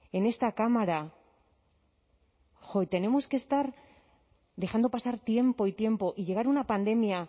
en esta cámara jo y tenemos que estar dejando pasar tiempo y tiempo y llegar una pandemia